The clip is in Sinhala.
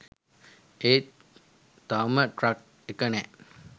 ඒත් තවම ට්‍රක් එක නෑ.